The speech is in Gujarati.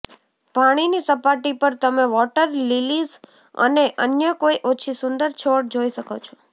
પાણીની સપાટી પર તમે વોટર લિલીઝ અને અન્ય કોઈ ઓછી સુંદર છોડ જોઈ શકો છો